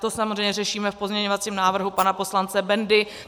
To samozřejmě řešíme v pozměňovacím návrhu pana poslance Bendy.